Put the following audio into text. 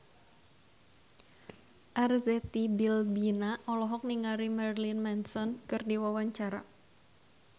Arzetti Bilbina olohok ningali Marilyn Manson keur diwawancara